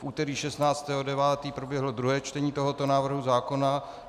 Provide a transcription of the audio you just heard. V úterý 16. 9. proběhlo druhé čtení tohoto návrhu zákona.